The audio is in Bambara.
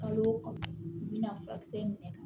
Kalo o kalo n bɛna furakisɛ in de ta